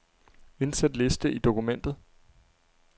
Indsæt liste i dokumentet.